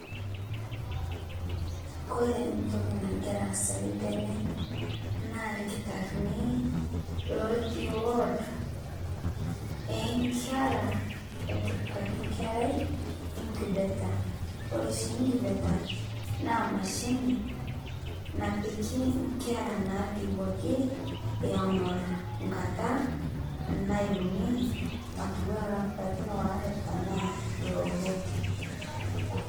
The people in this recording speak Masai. Ore entoki nagira aasa tenewueji naa kiltarini otii ward orngerraa naatii incubator oree oshii incubator naa mashinini napiki inkeraa naitowoki erong nkata naiuni tiatua lapain waree enaaloo abo